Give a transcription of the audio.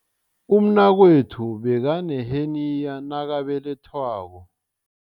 Umnakwethu bekaneheniya nakabelethwako.